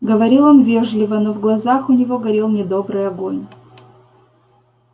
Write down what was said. говорил он вежливо но в глазах у него горел недобрый огонь